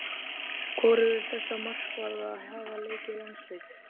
Hvorugur þessara markvarða hafa leikið landsleik.